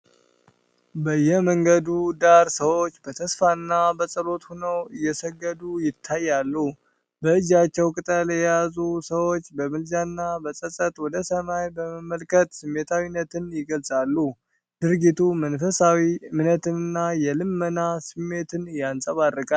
በየመንገዱ ዳር ሰዎች በተስፋና በጸሎት ሆነው እየሰገዱ ይታያሉ። በእጃቸው ቅጠል የያዙት ሰዎች በምልጃና በጸጸት ወደ ሰማይ በመመልከት ስሜታዊነትን ይገልፃሉ። ድርጊቱ መንፈሳዊ እምነትንና የልመና ስሜትን ያንጸባርቃል።